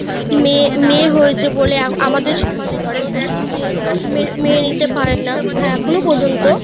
মেয়ে~ মেয়ে হয়েছে বলে আমা~ আমাদের সমাজে ধরো যাদের কে মে~ মেনে নিতে পারেন না এখনো পর্যন্ত;